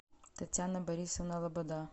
татьяна борисовна лобода